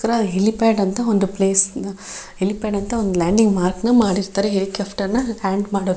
ತರ ಹೆಲಿಪ್ಯಾಡ್ ಅಂತ ಒಂದು ಪ್ಲೇಸ್ ನ ಹೆಲಿಪ್ಯಾಡ್ ಅಂತ ಲ್ಯಾಂಡಿಂಗ್ ಮಾರ್ಕ್ನ ಮಾಡಿರ್ತಾರೆ ಹೆಲಿಕಾಫ್ಟರ್ನ ಲ್ಯಾಂಡ್ ಮಾಡೋ --